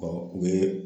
u bɛ